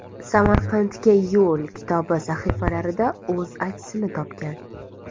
Samarqandga yo‘l” kitobi sahifalarida o‘z aksini topgan.